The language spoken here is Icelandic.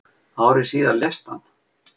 Ári síðar lést hann.